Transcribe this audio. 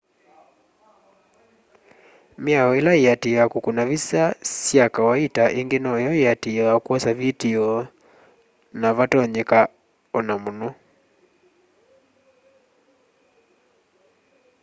miao ila iatiiawa kukuna visa sya kawaita ingi noyo iatiiawa kwosya vitio navatonyeka ona muno